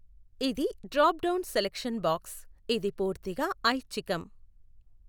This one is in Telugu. ఇది డ్రాప్ డౌన్ సెలక్షన్ బాక్స్, ఇది పూర్తిగా ఐచ్ఛికం.